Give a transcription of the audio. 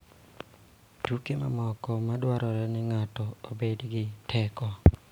Tuke mamoko ma dwaro ni ng�ato obed gi teko .